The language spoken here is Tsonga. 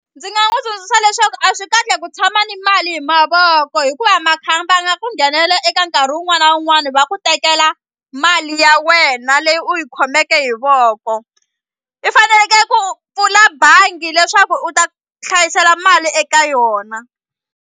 Ndzi nga n'wi tsundzuxa leswaku a swi kahle ku tshama ni mali hi mavoko hikuva makhamba ya nga ku nghenelela eka nkarhi wun'wani na wun'wani va ku tekela mali ya wena leyi u yi khomeke hi voko i faneleke ku pfula bangi leswaku u ta hlayisela mali eka yona.